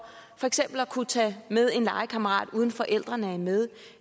for eksempel at kunne tage med en legekammerat uden forældrene er med